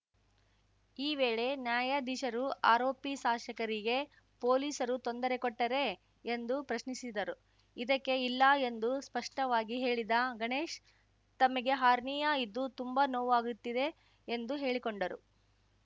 ಈ ವೇಳೆ ನ್ಯಾಯಾಧೀಶರು ಆರೋಪಿ ಶಾಸಕರಿಗೆ ಪೊಲೀಸರು ತೊಂದರೆ ಕೊಟ್ಟರೇ ಎಂದು ಪ್ರಶ್ನಿಸಿದರು ಇದಕ್ಕೆ ಇಲ್ಲ ಎಂದು ಸ್ಪಷ್ಟವಾಗಿ ಹೇಳಿದ ಗಣೇಶ್‌ ತಮಗೆ ಹರ್ನಿಯಾ ಇದ್ದು ತುಂಬಾ ನೋವಾಗುತ್ತಿದೆ ಎಂದು ಹೇಳಿಕೊಂಡರು